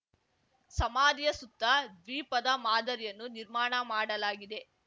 ಸಮಾಧಿಯ ಸುತ್ತ ದ್ವೀಪದ ಮಾದರಿಯನ್ನು ನಿರ್ಮಾಣ ಮಾಡಲಾಗಿದೆ